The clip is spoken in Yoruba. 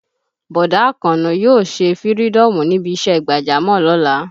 Bọ̀dá Àkànó yóò ṣe fïrídọ́ọ̀mù níbi ìṣe gbàjámọ̀ lọ́la